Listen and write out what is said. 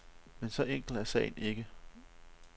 Men så enkel er sagen ikke.